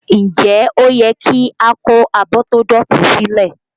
Nje ó yẹ kí a kó abọ́ tó dọ̀tí silẹ?